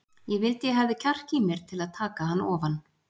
Ég vildi ég hefði kjark í mér til að taka hann ofan.